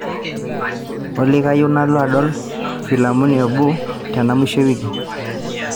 olly kayieu nalo adol filamuni eboo tena mwisho e wiki